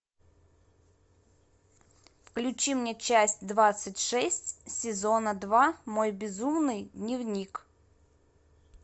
включи мне часть двадцать шесть сезона два мой безумный дневник